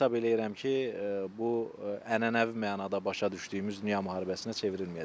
Hesab eləyirəm ki, bu ənənəvi mənada başa düşdüyümüz dünya müharibəsinə çevrilməyəcək.